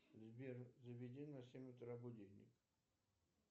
сбер заведи на семь утра будильник